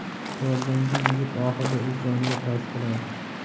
Qurollangan yigit oxirida o‘z joniga qasd qiladi.